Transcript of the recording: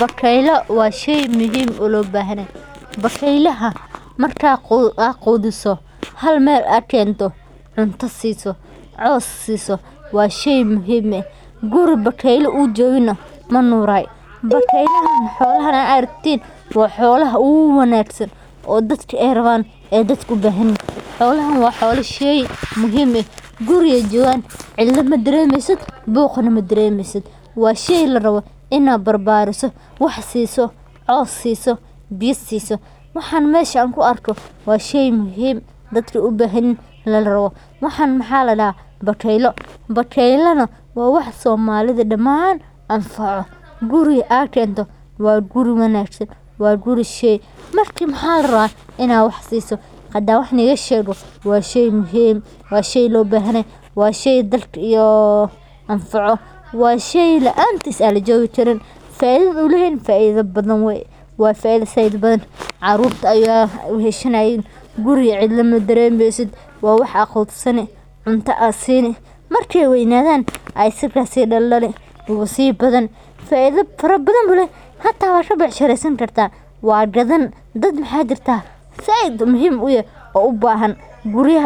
Bakeylo waa shey muhiim ah oo lo bahanyahay, bakaeylaha marka qudhiso hal meel aa kento cunto siso cos siso waa shey muhiim ah, guri bakeyla u jogina manuray, bakeylahan xolaha marka aad aragtin waa xolaha uwanagsan dadka ee rawan ee dadka ubahan yihin xolahan waa xola shey muhiim ah guri ee jogan cidla madaremeysid buqna madaremeysid waa shey laro in aa bar bariso cos siso biyo siso waa shey muhiim dadka ubahan yihin bakeylana waa somali daman guri aad kento waa guri ina wax siso waa shey iyo washey laantis aa lajogi karin faidhada u leyahana waa faidho badan carurta aya weshanayin carurta aya weheshanayin cunta aa sini marki ee weynaddhan aa si daldali faidho badan ayu leyahay wana ka becshiresan kartaa waa gadan dad maxaa jirta said muhiim uyahay oo u bahan oo rawan in